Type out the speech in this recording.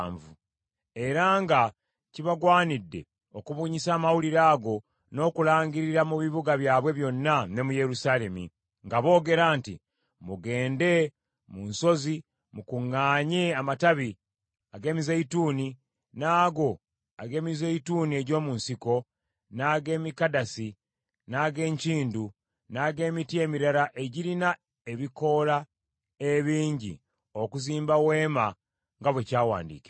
era nga kibagwanidde okubunyisa amawulire ago n’okulangirira mu bibuga byabwe byonna ne mu Yerusaalemi, nga boogera nti, “Mugende mu nsozi mukuŋŋaanye amatabi ag’emizeeyituuni n’ago ag’emizeeyituuni egy’omu nsiko, n’ag’emikadasi, n’ag’enkindu, n’ag’emiti emirala egirina ebikoola ebingi okuzimba weema nga bwe kyawandiikibwa.”